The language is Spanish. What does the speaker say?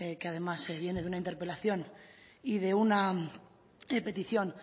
que además viene de una interpelación y de una petición